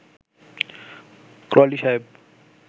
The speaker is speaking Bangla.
ক্রলি সাহেব